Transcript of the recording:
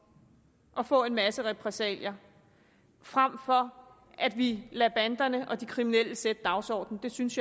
at for en masse repressalier frem for at vi lader banderne og de kriminelle sætte dagsordenen jeg synes